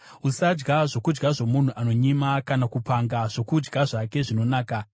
Usadya zvokudya zvomunhu anonyima, kana kupanga zvokudya zvake zvinonaka;